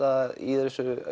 í þessu